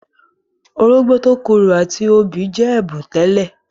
Orógbó tó korò àti obì jẹ́ ẹ̀bùn tẹ́lẹ̀.